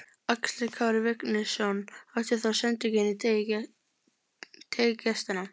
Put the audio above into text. Axel Kári Vignisson átti þá sendingu inn í teig gestanna.